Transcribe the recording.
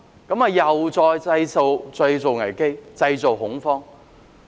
這樣又再次製造危機、製造恐慌。